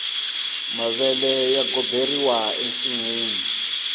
mavele ya goberiwa ensinwini